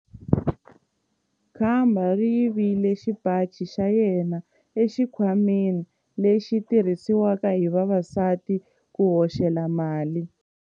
Khamba ri yivile xipaci xa yena exikhwameni lexi xi tirhisiwaka hi vavasati ku hoxela mali.